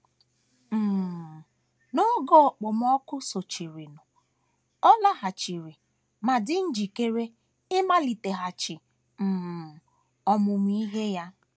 um N’oge okpomọkụ sochirinụ, ọ laghachiri ma dị njikere ịmaliteghachi um ọmụmụ ihe ya.